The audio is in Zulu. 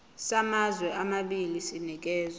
samazwe amabili sinikezwa